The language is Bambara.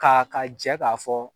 K'a ka jɛ k'a fɔ